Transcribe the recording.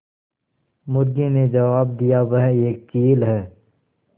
मुर्गी ने जबाब दिया वह एक चील है